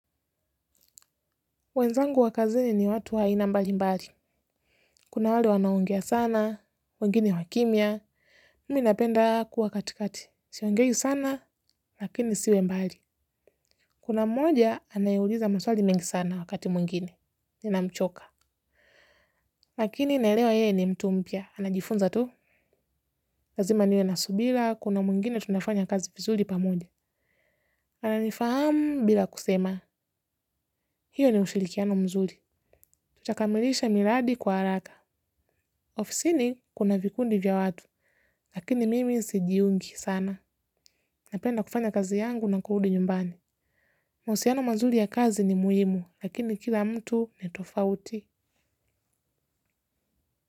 Wenzangu wa kazini ni watu aina mbali mbali. Kuna wale wanaongea sana, wengine wakimia. Mimi ninapenda kuwa katikati. Siongei sana, lakini siwe mbali. Kuna mmoja, anayeuliza maswali mengi sana wakati mwingine. Nina mchoka. Lakini naelewa yeye ni mtu mpya. Anajifunza tu. Lazima niwe na subira. Kuna mwingine tunafanya kazi vizuri pamoja. Ananifahamu bila kusema. Hiyo ni ushirikiano mzuri. Tutakamilisha miradi kwa haraka. Ofisini kuna vikundi vya watu, lakini mimi sijiungi sana. Napenda kufanya kazi yangu na kurudi nyumbani. Mahusiano mazuri ya kazi ni muhimu, lakini kila mtu ni tofauti.